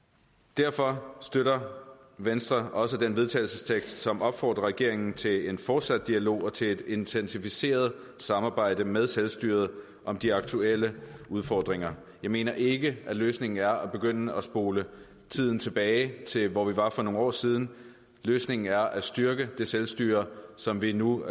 derfor støtter venstre også den vedtagelsestekst som opfordrer regeringen til en fortsat dialog og til et intensiveret samarbejde med selvstyret om de aktuelle udfordringer jeg mener ikke at løsningen er at begynde at spole tiden tilbage til hvor vi var for nogle år siden løsningen er at styrke det selvstyre som vi nu